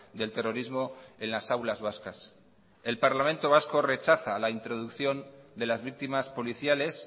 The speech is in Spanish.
del terrorismo en las aulas vascas el parlamento vasco rechaza la introducción de las víctimas policiales